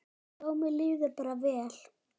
Já, mér líður bara vel.